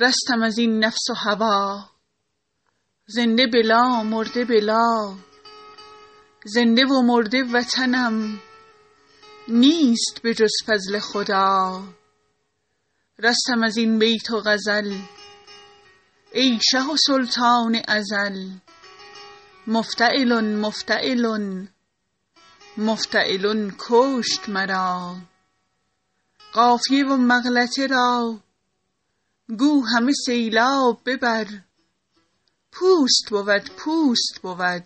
رستم از این نفس و هوا زنده بلا مرده بلا زنده و مرده وطنم نیست به جز فضل خدا رستم از این بیت و غزل ای شه و سلطان ازل مفتعلن مفتعلن مفتعلن کشت مرا قافیه و مغلطه را گو همه سیلاب ببر پوست بود پوست بود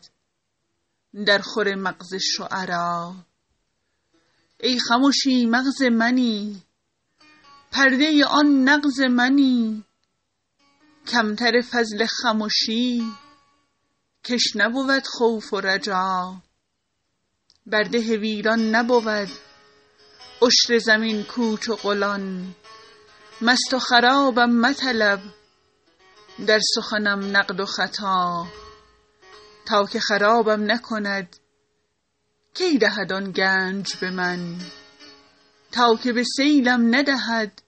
درخور مغز شعرا ای خمشی مغز منی پرده آن نغز منی کم تر فضل خمشی کش نبود خوف و رجا بر ده ویران نبود عشر زمین کوچ و قلان مست و خرابم مطلب در سخنم نقد و خطا تا که خرابم نکند کی دهد آن گنج به من تا که به سیلم ندهد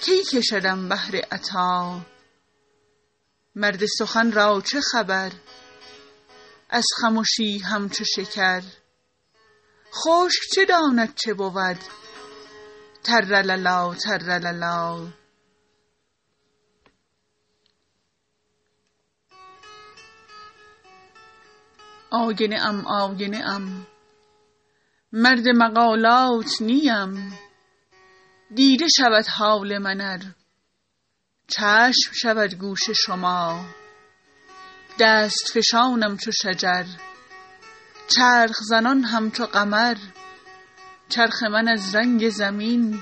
کی کشدم بحر عطا مرد سخن را چه خبر از خمشی همچو شکر خشک چه داند چه بود ترلللا ترلللا آینه ام آینه ام مرد مقالات نه ام دیده شود حال من ار چشم شود گوش شما دست فشانم چو شجر چرخ زنان همچو قمر چرخ من از رنگ زمین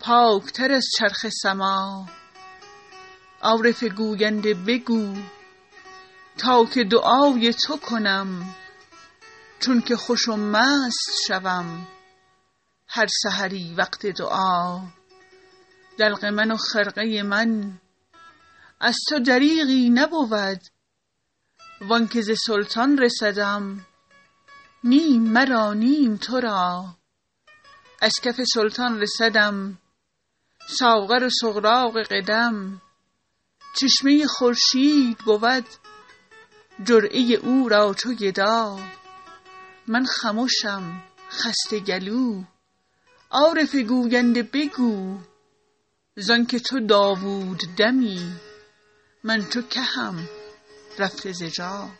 پاک تر از چرخ سما عارف گوینده بگو تا که دعای تو کنم چون که خوش و مست شوم هر سحری وقت دعا دلق من و خرقه من از تو دریغی نبود و آن که ز سلطان رسدم نیم مرا نیم تو را از کف سلطان رسدم ساغر و سغراق قدم چشمه خورشید بود جرعه او را چو گدا من خمشم خسته گلو عارف گوینده بگو ز آن که تو داوود دمی من چو کهم رفته ز جا